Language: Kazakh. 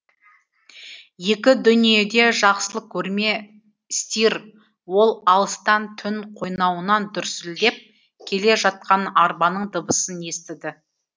екі дүниеде жақсылық көрме стир ол алыстан түн қойнауынан дүрсілдеп келе жатқан арбаның дыбысын естіді